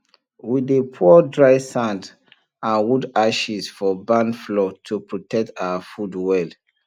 we dey pour dry sand and wood ashes for barn floor to protect our food well